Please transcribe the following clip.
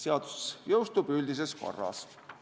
Seadus jõustub üldises korras.